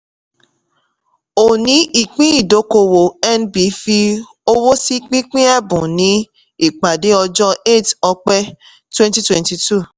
òni ìpín ìdókòwò nb fi ọwọ́ sí pípín ẹ̀bùn ní ìpàdé ọjọ́ eight ọ̀pẹ̀ twenty twenty two.